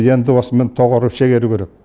енді осымен доғару шегеру керек